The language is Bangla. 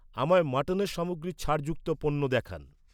আমায় মাটনের সামগ্রীর ছাড় যুক্ত পণ্য দেখান